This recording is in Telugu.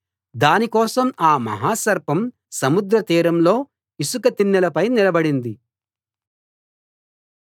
దానికోసం ఆ మహా సర్పం సముద్ర తీరంలో ఇసుక తిన్నెలపై నిలబడింది